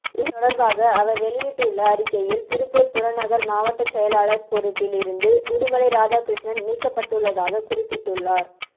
இதுதொடர்பாக அவர் வெளியிட்டுள்ள அறிக்கையில் திருப்பூர் புறநகர் மாவட்ட செயலாளர் பொறுப்பில் இருந்து உடுமலை ராதாகிருஷ்ணன் நீக்கப்பட்டுள்ளதாக குறிப்பிட்டுள்ளார்